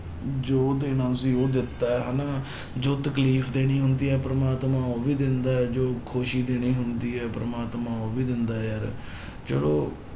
ਜੋ ਦੇਣਾ ਸੀ ਉਹ ਦਿੱਤਾ ਹੈ ਹਨਾ ਜੋ ਤਕਲੀਫ਼ ਦੇਣੀ ਹੁੰਦੀ ਆ ਪ੍ਰਮਾਤਮਾ ਉਹ ਵੀ ਦਿੰਦਾ ਹੈ, ਜੋ ਖ਼ੁਸ਼ੀ ਦੇਣੀ ਹੁੰਦੀ ਹੈ ਪ੍ਰਮਾਤਮਾ ਉਹ ਵੀ ਦਿੰਦਾ ਹੈ ਯਾਰ ਚਲੋ